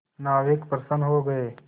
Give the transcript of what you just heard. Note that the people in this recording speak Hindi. नाविक प्रसन्न हो गए